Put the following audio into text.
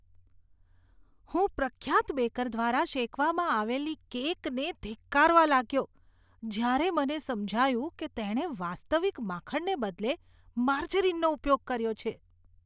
હું પ્રખ્યાત બેકર દ્વારા શેકવામાં આવેલી કેકને ધિક્કારવા લાગ્યો જ્યારે મને સમજાયું કે તેણે વાસ્તવિક માખણને બદલે માર્જરિનનો ઉપયોગ કર્યો છે.